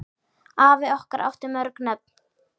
Afi okkar átti mörg nöfn.